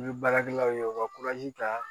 I bɛ baarakɛlaw ye u ka ta